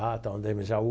A tal Jaú.